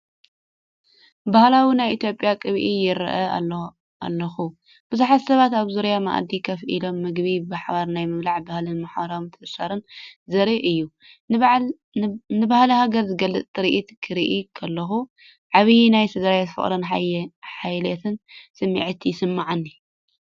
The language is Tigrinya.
ባህላዊ ናይ ኢትዮጵያ ቅብኣ ይርኢ ኣለኹ፤ ብዙሓት ሰባት ኣብ ዙርያ መኣዲ ኮፍ ኢሎም ምግቢ ብሓባር ናይ ምብላዕ ባህልን ማሕበራዊ ምትእስሳርን ዘርኢ እዩ። ንባህሊ ሃገር ዝገልጽ ትርኢት ክርኢ ከለኹ፡ ዓቢይ ናይ ስድራቤት ፍቕርን ሓልዮትን ስምዒት ይስምዓኒ።